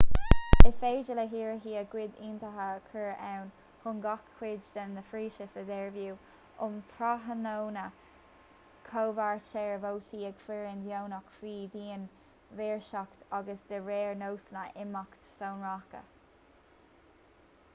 is féidir le hiarrthóirí a gcuid ionadaithe a chur ann chun gach cuid den phróiseas a dhearbhú um thráthnóna comhairtear vótaí ag foireann dheonach faoi dhian-mhaoirseacht agus de réir nósanna imeachta sonracha